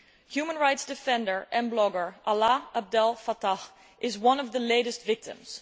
Human rights defender and blogger Alaa Abdel Fatah is one of the latest victims.